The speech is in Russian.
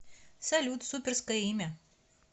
салют суперское имя